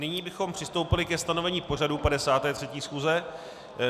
Nyní bychom přistoupili ke stanovení pořadu 53. schůze.